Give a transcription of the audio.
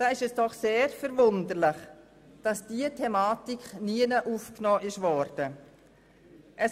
Deshalb ist es doch sehr verwunderlich, dass diese Thematik nirgends aufgenommen worden ist.